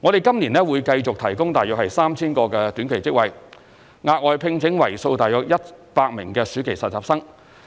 我們在今年會繼續提供約 3,000 個短期職位、額外聘請為數約100名暑期實習生，